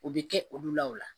O bɛ kɛ olu la o la